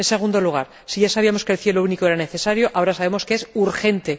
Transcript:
En segundo lugar, si ya sabíamos que el cielo único era necesario, ahora sabemos que es urgente.